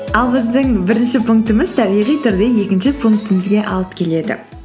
ал біздің бірінші пунктіміз табиғи түрде екінші пунктімізге алып келеді